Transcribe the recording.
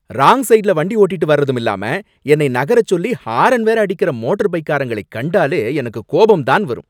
Wrong சைடுல வண்டி ஓட்டிட்டு வர்றதுமில்லாம என்னை நகர சொல்லி ஹாரன் வேற அடிக்கற மோட்டர்பைக்காரங்களைக் கண்டாலே எனக்கு கோபம்தான் வரும்.